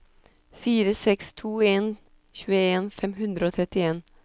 fire seks to en tjueen fem hundre og trettien